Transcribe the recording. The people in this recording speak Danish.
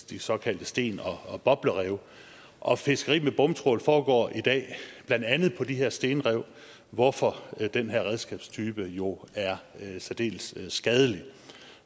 de såkaldte sten og boblerev og fiskeri med bomtrawl foregår i dag blandt andet på de her stenrev hvorfor den her redskabstype jo er særdeles skadelig